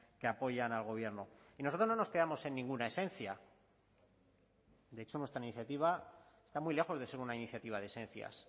que apoyan al gobierno y nosotros no nos quedamos en ninguna esencia de hecho nuestra iniciativa está muy lejos de ser una iniciativa de esencias